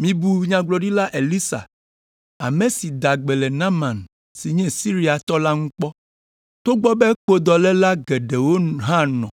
Mibu Nyagblɔɖila Elisa, ame si da gbe le Naaman si nye Siriatɔ la ŋu kpɔ. Togbɔ be kpodɔléla geɖewo hã nɔ